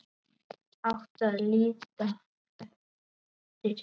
Átti að líta eftir